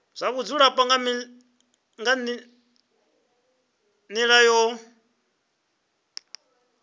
zwa vhudzulo nga nila yo